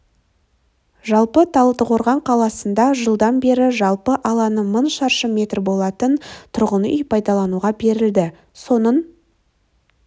жалпы талдықорған қаласында жылдан бері жалпы алаңы мың шаршы метр болатын тұрғын үй пайдалануға берілді соның